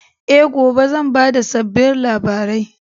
E, gobe zan ba da sabbin labarai.